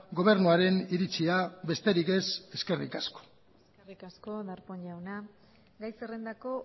gobernuaren iritzia besterik ez eskerrik asko eskerrik asko darpón jauna gai zerrendako